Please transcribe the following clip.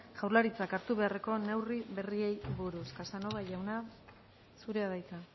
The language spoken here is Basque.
jaurlaritzak hartu beharreko neurri berriei buruz casanova jauna zurea da hitza